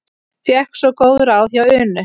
Fékk svo góð ráð hjá Unu.